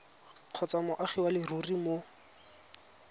kgotsa moagi wa leruri mo